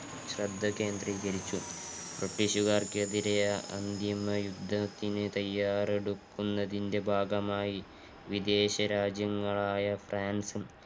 ശ്രദ്ധ കേന്ദ്രീകരിച്ചു ബ്രിട്ടീഷുക്കാർക്കെതിരെ അന്തിമ യുദ്ധത്തിന് തയ്യാറെടുകുന്നതിന്റെ ഭാഗമായി വിദേശ രാജ്യങ്ങളായ ഫ്രാൻസും